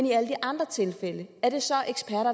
i alle de andre tilfælde